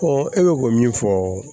e bɛ ko min fɔ